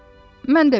Mən də bilmirəm.